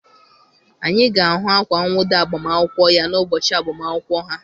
Anyị ga-ahụ akwa nwụda agbamakwụkwọ ya n'ụbọchị agbamakwụkwọ ha.